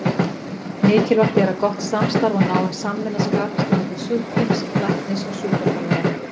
Mikilvægt er að gott samstarf og náin samvinna skapist á milli sjúklings, læknis og sjúkraþjálfara.